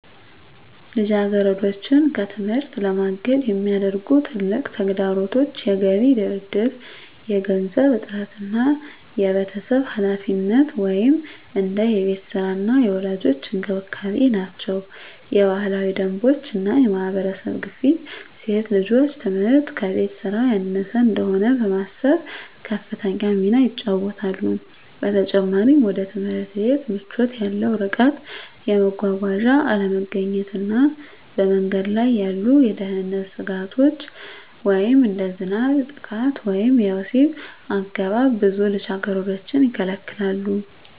ልጃገረዶችን ከትምህርት ለማገድ የሚያደርጉ ትልቁ ተግዳሮቶች የገቢ ድርድር፣ የገንዘብ እጥረት እና የቤተሰብ ኃላፊነት (እንደ የቤት ሥራ እና የወላጆች እንክብካቤ) ናቸው። የባህላዊ ደንቦች እና የማህበረሰብ ግፊት ሴት ልጆች ትምህርት ከቤት ሥራ ያነሰ እንደሆነ በማሰብ ከፍተኛ ሚና ይጫወታሉ። በተጨማሪም፣ ወደ ትምህርት ቤት ምቾት ያለው ርቀት፣ የመጓጓዣ አለመገኘት እና በመንገድ ላይ ያሉ የደህንነት ስጋቶች (እንደ ዝናብ፣ ጥቃት ወይም የወሲብ አገባብ) ብዙ ልጃገረዶችን ይከለክላሉ።